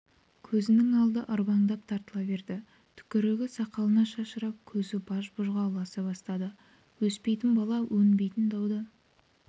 көзінің алды ырбыңдап тартыла берді түкірігі сақалына шашырап сөзі баж-бұжға ұласа бастады өспейтін бала өнбейтін дауды